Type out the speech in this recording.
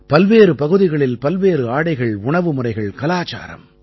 பல்வேறு பகுதிகளில் பல்வேறு ஆடைகள் உணவுமுறைகள் கலாச்சாரம்